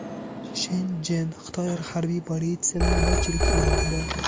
Shenchjen, Xitoy Harbiy politsiya navbatchilik qilmoqda.